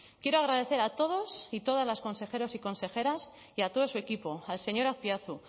quiero agradecer a todos y todas los consejeros y consejeras y a todo su equipo al señor azpiazu